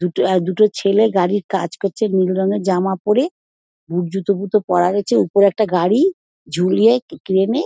দুটো এ দুটো ছেলে গাড়ির কাজ করছে নীল রঙের জামা পরে বুট জুতো ফুতো পড়া রয়েছে উপরে একটি গাড়ি ঝুলিয়ে ক্রেন -এ।